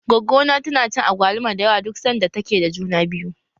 Goggo na tana cin agwaluma da yawa duk sanda ta ke da juna biyu.